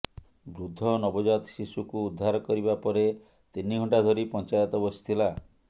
ବୃଦ୍ଧ ନବଜାତ ଶିଶୁକୁ ଉଦ୍ଧାର କରିବା ପରେ ତିନି ଘଣ୍ଟା ଧରି ପଞ୍ଚାୟତ ବସିଥିଲା